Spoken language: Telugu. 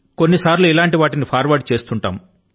కొన్నిసర్లు ఇటువంటి వాటిని ఫార్వర్డ్ చేస్తూంటాం